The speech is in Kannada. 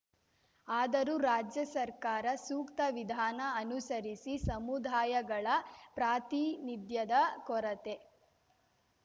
ಆದರೂ ರಾಜ್ಯ ಸರ್ಕಾರ ಸೂಕ್ತ ವಿಧಾನ ಅನುಸರಿಸಿ ಸಮುದಾಯಗಳ ಪ್ರಾತಿನಿಧ್ಯದ ಕೊರತೆ